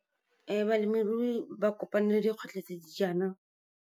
Balemirui ba kopane le dikgwetlho the di jaana.